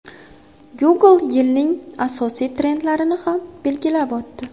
Google yilning asosiy trendlarini ham belgilab o‘tdi.